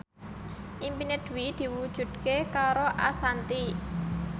impine Dwi diwujudke karo Ashanti